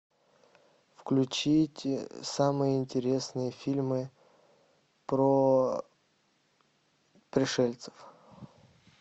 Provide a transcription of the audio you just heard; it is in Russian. включить самые интересные фильмы про пришельцев